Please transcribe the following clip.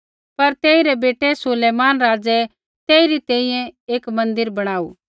पर तेइरै बेटै सुलैमान राज़ै तेइरी तैंईंयैं एक मन्दिर बणाऊ